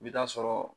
I bɛ taa sɔrɔ